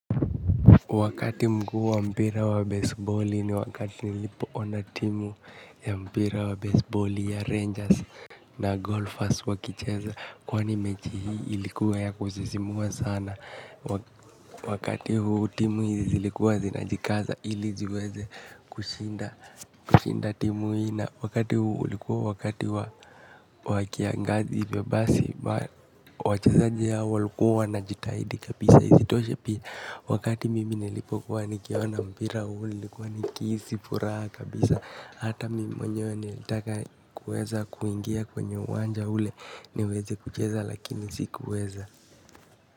Wakati mkuu wa mpira wa baseball ni wakati nilipo ona timu ya mpira wa baseball ya rangers na golfers wakicheza. Kwani mechi hii ilikuwa ya kuzisimua sana. Wakati huu timu hizi zilikuwa zinajikaza ili ziweze kushinda timu hii. Wakati huu ulikuwa wakati wa kiangazi wachezaji hao walikuwa wanajitahidi kabisa isitoshe pia wakati mimi nilipokuwa nikiona mpira huli likuwa nikisi furaha kabisa hata mimi mwenyewe nilitaka kueza kuingia kwenye uwanja ule niweze kucheza lakini sikuweza.